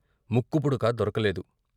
ముక్కుపుడక దొరకలేదు.